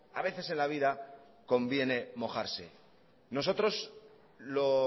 a veces en la vida conviene mojarse nosotros lo